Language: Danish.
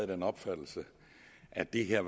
den opfattelse at det her